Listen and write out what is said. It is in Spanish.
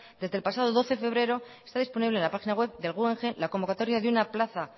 desde el pasado doce de febrero está disponible en la página web del guggenheim la convocatoria de una plaza